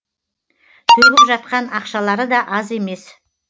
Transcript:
төгіп жатқан ақшалары да аз емес